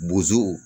Bozow